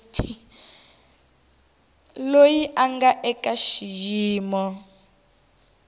loyi a nga eka xiyimo